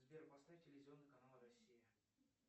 сбер поставь телевизионный канал россия